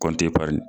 Kɔnti pari